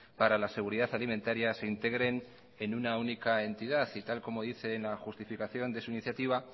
para la seguridad alimentaria se integren en una única entidad y tal y como dice en la justificación de su iniciativa